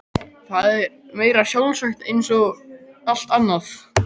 Það var meira en sjálfsagt eins og allt annað.